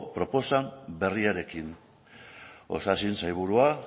proposa berriarekin osasun sailburuak